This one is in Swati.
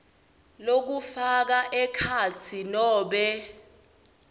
lokufaka ekhatsi nobe